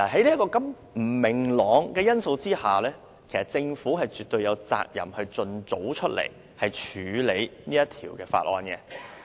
在不明朗的因素下，政府絕對有責任盡早處理《條例草案》。